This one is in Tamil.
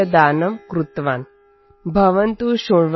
एम् एकभारतं श्रेष्ठभारतम् |